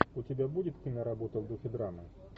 у тебя будет киноработа в духе драмы